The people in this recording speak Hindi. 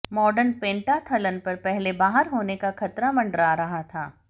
माडर्न पेंटाथलन पर पहले बाहर होने का खतरा मंडरा रहा था